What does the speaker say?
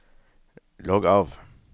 logg av